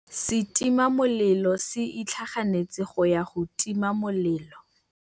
Setima molelô se itlhaganêtse go ya go tima molelô.